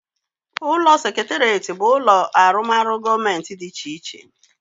Ulo seketeret but ulo arumoru gomenti di iche iche